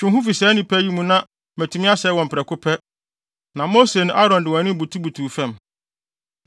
“Twe wo ho fi saa nnipa yi mu na matumi asɛe wɔn prɛko pɛ.” Na Mose ne Aaron de wɔn anim butubutuu fam.